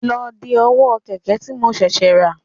Lọ de ọwọ́ kẹ̀kẹ́ tí mo ṣẹ̀ṣẹ̀ rà